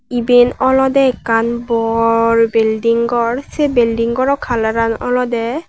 iben olodey ekkan bor building gor sey bildinggoro colouran olodey.